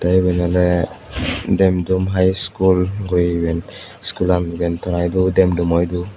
te iben oley demdum high school guru iben iskulan iben tara idu demdumo idu.